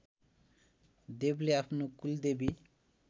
देवले आफ्नो कुलदेवी